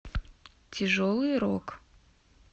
тяжелый рок